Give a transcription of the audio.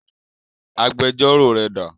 Agbẹjọ́rò rẹ dà?